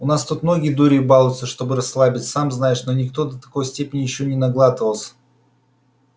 у нас тут многие дурью балуются чтобы расслабиться сам знаешь но никто до такой степени ещё не наглатывался